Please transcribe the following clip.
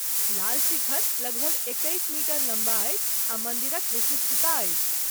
लाल शिखर लगभग एकैस मीटर लम्बा अछि आ मन्दिरक विशिष्टता अछि।